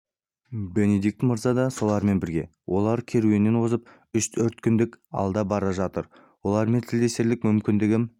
бенедикт мырза да солармен бірге олар керуеннен озып үш-төрт күндік алда бара жатыр олармен тілдесерлік мүмкіндігім